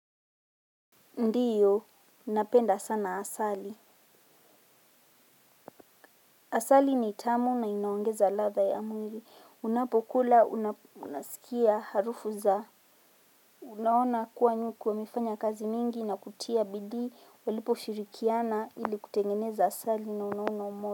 Ndiyo, napenda sana asali. Asali ni tamu na inaongeza ladha ya mwili. Unapokula, unasikia harufu za. Unaona kuwa nyuki wamefanya kazi nyingi na kutia bidii walipo shirikiana ili kutengeneza asali na unaona.